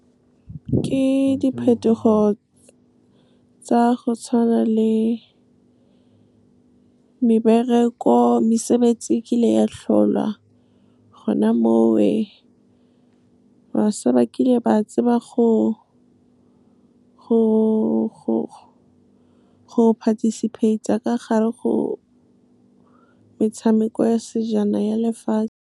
Ke diphetogo tsa go tshwana le mesebetsi e kile ya tlholwa gona mowe. Bašwa ba kile ba tseba go participate-a ka gare go metshameko ya sejana ya lefatshe.